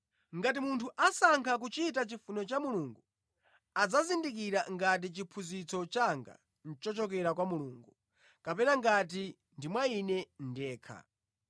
Ngati munthu asankha kuchita chifuniro cha Mulungu, adzazindikira ngati chiphunzitso changa nʼchochokera kwa Mulungu kapena ngati ndi mwa Ine ndekha.